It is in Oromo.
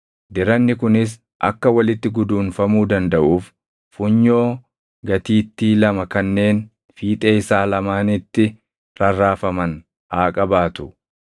Diranni kunis akka walitti guduunfamuu dandaʼuuf funyoo gatiittii lama kanneen fiixee isaa lamaanitti rarraafaman haa qabaatu.